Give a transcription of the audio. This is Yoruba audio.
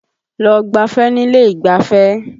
Lọ gbáfẹ́ nílé ìgbáfẹ́!